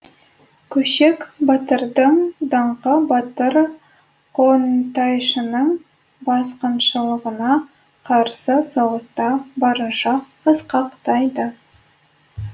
көшек батырдың даңқы батыр қонтайшының басқыншылығына қарсы соғыста барынша асқақтайды